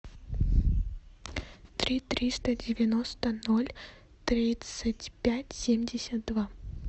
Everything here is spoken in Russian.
три триста девяносто ноль тридцать пять семьдесят два